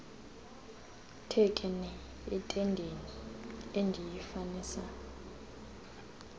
thekenee entendeni endiyifanisa